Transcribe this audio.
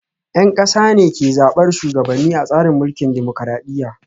Yan kasa ne ke zabar shugabanni a tsarin mulkin dimokuradiyya